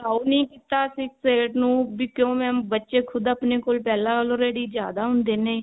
ਉਹ ਨੀ ਕੀਤਾ six eight ਨੂੰ ਕਿਉਂ mam ਬੱਚੇ ਖੁਦ ਆਪਣੇ ਕੋਲ ਪਹਿਲਾਂ already ਜਿਆਦਾ ਹੁੰਦੇ ਨੇ